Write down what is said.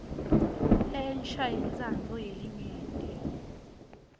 lensha yentsandvo yelinyenti